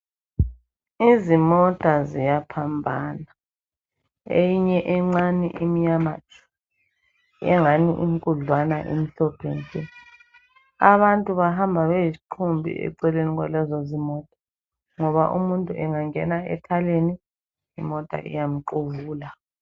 Izimota ziyaphambana eyinye encane emnyama tshu engani inkudlwana emhlophe nke. Abantu bahamba beyisiqumbi eceleni kwalezozimota ngoba umuntu engangenwa etareni imota iyamquvula.